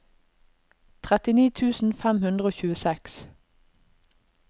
trettini tusen fem hundre og tjueseks